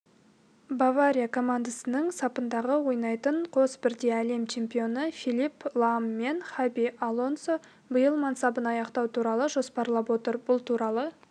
бавария командасының сапында ойнайтын қос бірдей әлем чемпионы филипп лам мен хаби алонсо биыл мансабын аяқтау туралы жоспарлап отыр бұл туралы